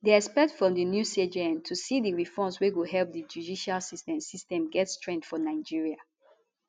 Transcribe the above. dey expect from di new cjn na to see reforms wey go help di judicial system system get strength for nigeria